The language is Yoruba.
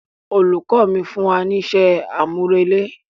Olùkọ fún wa ní isé àmúrelé.